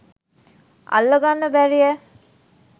අල්ල ගන්න බැරියැ?